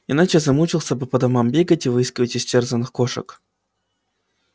иначе замучился бы по домам бегать и выискивать истерзанных кошек